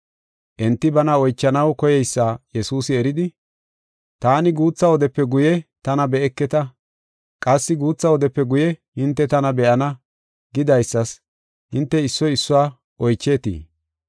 Enti bana oychanaw koyeysa Yesuusi eridi, “Taani, ‘Guutha wodepe guye tana be7eketa; qassi guutha wodepe guye hinte tana be7ana’ gidaysas hinte issoy issuwa oycheetii?